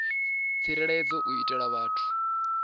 tsireledzeaho u itela uri vhathu